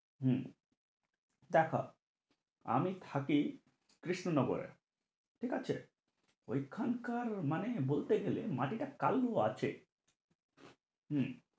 হম দেখো আমি থাকি কৃষ্ণনগরে ঠিকআছে ওইখান কার মানে বলতে পারো মাটি টা কালো আছে হম